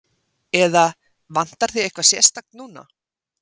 Eða, vantar þig eitthvað sérstakt núna?